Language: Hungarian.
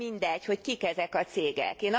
Nem mindegy, hogy kik ezek a cégek.